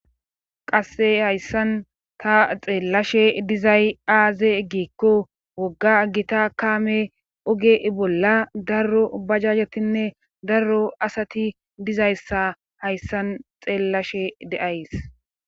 Qasse hayssan ta xeellashe dizay aaze eggikko wogga gita kaame oge ibolla darro bajajatinne darro asati dizayssa hayssan xeellashe de7ays